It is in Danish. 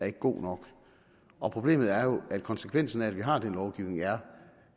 er god nok og problemet er jo at konsekvensen af at vi har den lovgivning er